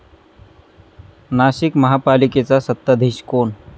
नाशिक महापालिकेचा सत्ताधीश कोण?